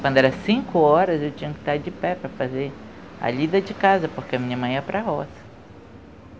Quando era cinco horas, eu tinha que estar de pé para fazer a lida de casa, porque a minha mãe é para roça.